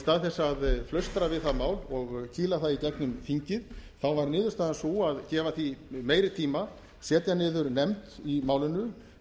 stað þess að flaustra við það mál og skila því í gegnum þingið þá var niðurstaðan sú að gefa því meiri tíma setja niður nefnd í málinu